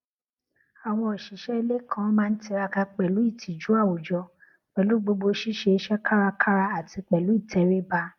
àwọn òṣìṣẹ ilé kan má n tiraka pẹlú ìtìjú àwùjọ pẹlú gbogbo ṣíṣe iṣẹ kárakára àti pẹlú ìtẹríba